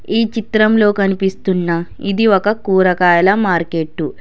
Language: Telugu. ఈ చిత్రంలో కనిపిస్తున్న ఇది ఒక కూరగాయల మార్కెట్టు .